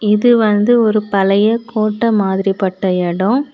இது வந்து ஒரு பழைய கோட்ட மாதிரி பட்ட எடம்.